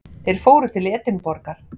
Þeir fóru til Edinborgar.